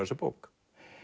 þessa bók